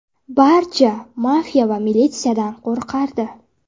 Barcha mafiya va militsiyadan qo‘rqardi.